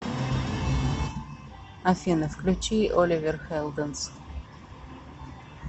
афина включи оливер хелденс